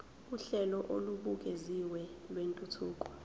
uhlelo olubukeziwe lwentuthuko